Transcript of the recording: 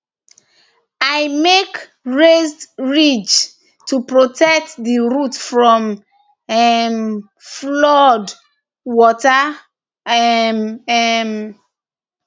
i make raised ridges to protect the root from um flood water um um